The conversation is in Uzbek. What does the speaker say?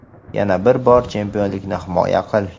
yana bir bor chempionlikni himoya qil.